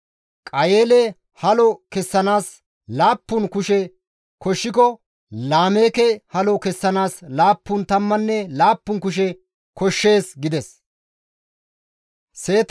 Qayeele halo kessanaas laappun kushe koshshiko Laameeke halo kessanaas laappun tammanne laappun kushe koshshees» gides.